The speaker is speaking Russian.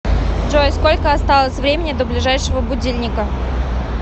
джой сколько осталось времени до ближайшего будильника